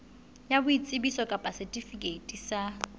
ya boitsebiso kapa setifikeiti sa